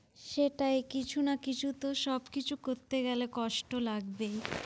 সেটাই, কিছু না কিছু তো সবকিছু করতে গেলে কষ্ট লাগবেই।